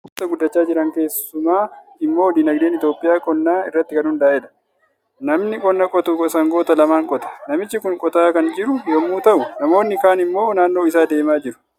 Biyyoota guddachaa jiran keessumaa immoo diinagdeen Itoophiyaa qonnaa irratti kan hundaa'edha. Namni qonna qotu sangoota lamaan qota. Namichi Kun qotaa kan jiru yommuu ta'u, namoonni kaan immoo naannoo isaa deemaa jiru.